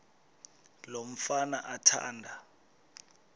lo mfana athanda